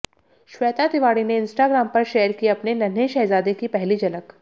श्वेता तिवारी ने इंस्टाग्राम पर शेयर की अपने नन्हें शहजादे की पहली झलक